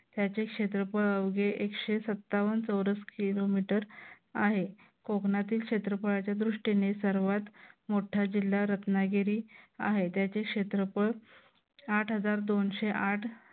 त्याचे क्षेत्रफळ अवघे एकशे सत्तावन्न चौरस किलोमीटर आहे. कोकणातील क्षेत्रफळाच्या दृष्टीने सर्वात मोठा जिल्हा रत्नागिरी आहे. त्याचे क्षेत्रफळ आठ हजार दोनशे आठ